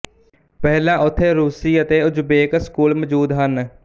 ਪਹਿਲਾਂ ਉਥੇ ਰੂਸੀ ਅਤੇ ਉਜ਼ਬੇਕ ਸਕੂਲ ਮੌਜੂਦ ਹਨ